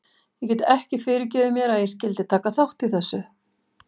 Ég get ekki fyrirgefið mér að ég skyldi taka þátt í þessu.